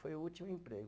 Foi o último emprego.